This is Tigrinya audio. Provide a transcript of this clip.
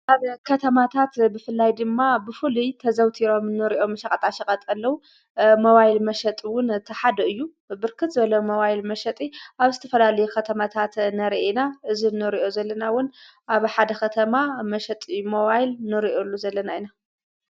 ናብ ከተማታት ብፍላይ ድማ ብፉልይ ተዘውቲሮም ኖርዮ መሻቐጣ ሸቐጠለዉ መዋይል መሸጥውን ተሓድ እዩ ብርክጽ በሎ መዋይል መሸጢ ኣብ ስቲ ፈላል ኸተማታት ነርአና እዝ ኖሪዮ ዘለናውን ኣብ ሓደ ኸተማ መሸጢ መዋይል ኖርኦሉ ዘለና ኢና።